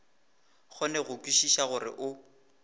kgone go kwešiša gore o